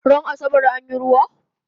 Ran asabar anyi ruwa?